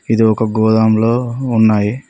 ఇది ఒక గోడౌన్ లో ఉన్నాయి.